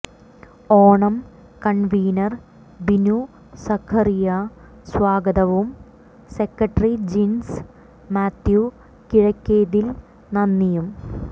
Onam convener Binu Zacharia സ്വാഗതവും secretary Jins Mathew Kizhakkethil നന്ദിയും